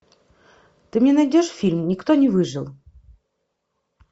ты мне найдешь фильм никто не выжил